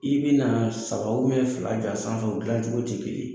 I bɛ na saba fila gansan jɔ u dilan cogo tɛ kelen ye.